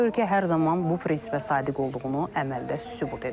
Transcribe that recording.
Ölkə hər zaman bu prinsipə sadiq olduğunu əməldə sübut edib.